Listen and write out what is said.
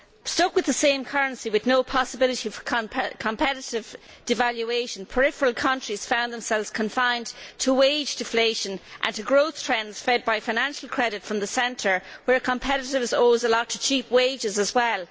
Stuck with the same currency with no possibility for competitive devaluation, peripheral countries found themselves confined to wage deflation and to growth trends fed by financial credit from the centre, where competitiveness owes a lot to cheap wages as well.